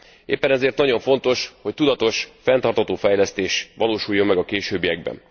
Éppen ezért nagyon fontos, hogy tudatos, fenntartható fejlesztés valósuljon meg a későbbiekben.